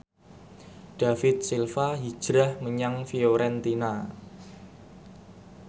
David Silva hijrah menyang Fiorentina